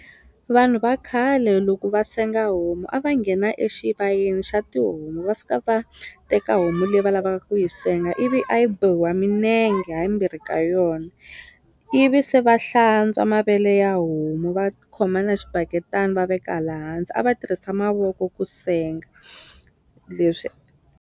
Vanhu va khale loko va senga homu a va nghena exivayeni xa tihomu va fika va teka homu leyi va lavaka ku yi senga ivi a yi bohiwa minenge ha yimbirhi ka yona ivi se va hlantswa mavele ya homu va khoma na xibaketani va veka laha hansi a va tirhisa mavoko ku senga leswi.